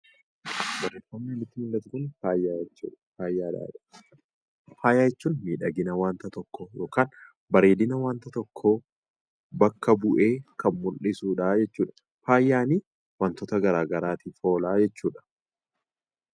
Barreeffamni nutti mul'atu kun faaya jechuudha. Faaya jedha. Faaya jechuun miidhagina waanta tokkoo yookaan bareedina waanta tokkoo bakka bu'ee kan mul'isudha jechuudha. Faayaani waantota garaa garaatiif oola jechuudha.